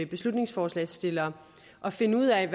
beslutningsforslagsstillere at finde ud af